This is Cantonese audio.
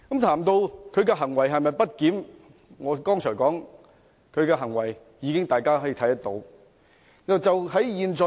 至於他的行為是否不檢，正如我剛才所說，他的行為有目共睹。